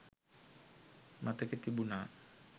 මතකෙ තිබුණා.